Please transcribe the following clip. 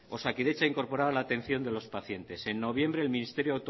osakidetza incorporaba la atención de los pacientes en noviembre el ministerio